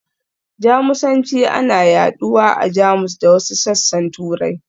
Jamusanci ana yaɗuwa a Jamus da wasu sassan Turai.